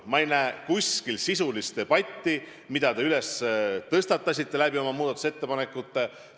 Ma ei näe sel juhul kuskil sisulist debatti, mille te nagu tõstatasite, kui oma muudatusettepanekud esitasite.